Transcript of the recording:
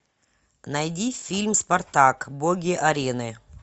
найди фильм спартак боги арены